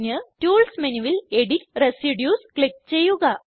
tools മെനുവിൽ edit residues click ചെയ്യുക